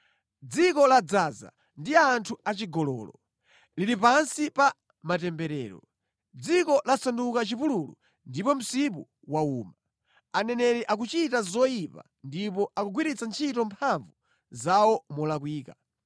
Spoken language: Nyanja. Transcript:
Dziko ladzaza ndi anthu achigololo; lili pansi pa matemberero. Dziko lasanduka chipululu ndipo msipu wawuma. Aneneri akuchita zoyipa ndipo akugwiritsa ntchito mphamvu zawo molakwika.